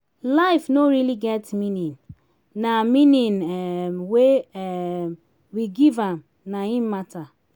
life no really get meaning na meaning um wey um we give am na im matter